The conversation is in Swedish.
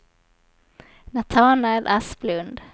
Natanael Asplund